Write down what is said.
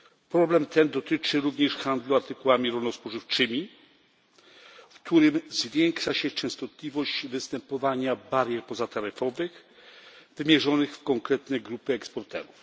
Problem ten dotyczy również handlu artykułami rolno spożywczymi, w którym zwiększa się częstotliwość występowania barier pozataryfowych wymierzonych w konkretne grupy eksporterów.